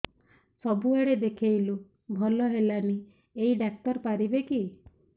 ସବୁଆଡେ ଦେଖେଇଲୁ ଭଲ ହେଲାନି ଏଇ ଡ଼ାକ୍ତର ପାରିବେ କି